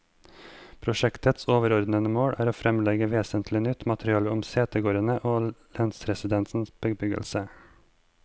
Prosjektets overordede mål er å fremlegge vesentlig nytt materiale om setegårdene og lensresidensenes bebyggelse.